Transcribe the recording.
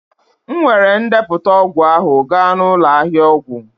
M weere ndepụta ọgwụ ahụ gaa n'ụlọ ahịa ọgwụ